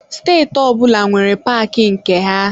Steeti ọbụla nwere paaki nke ha.